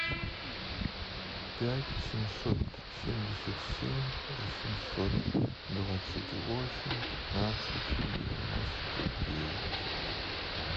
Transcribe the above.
пять семьсот семьдесят семь восемьсот двадцать восемь пятнадцать девяносто девять